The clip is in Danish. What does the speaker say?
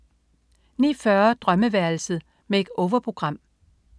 09.40 Drømmeværelset. Make-over-program